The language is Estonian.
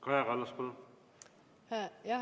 Kaja Kallas, palun!